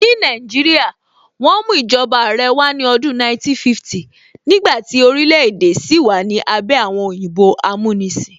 Ní Nàìjíríà, wọ́n mú ìjọba Àrẹ wá ní ọdún 1950s nígbàtí orílẹ̀ èdè sì wà ní abẹ́ àwọn òyìnbó amúnisìn